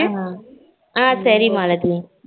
அஹ சரி மாலதி